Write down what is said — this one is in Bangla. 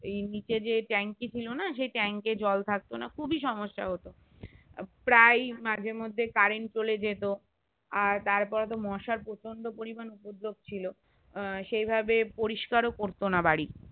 নিচে যে ট্যাংকি ছিলোনা সেই ট্যাং এ জল থাকতোনা খুব সমস্যা হতো প্রায় মাঝের মধ্যে কারেন্ট চলে জেতো আর তারপর তো মশার প্রচন্ড পরিমান উপদ্রপ ছিল সেই ভাবে পরিষ্কার ও করতোনা বাড়ি